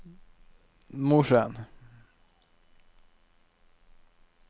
Mosjøen